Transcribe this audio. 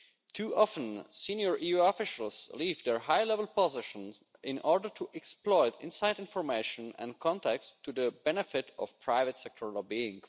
Too often, senior EU officials leave their high level positions in order to exploit inside information and contacts to the benefit of private sector lobbying.